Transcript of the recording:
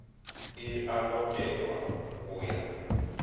e a lokelwa go ya